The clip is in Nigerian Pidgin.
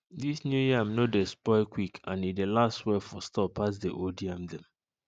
dis new yam no dey spoil quick and e dey last well for store pass the old yam dem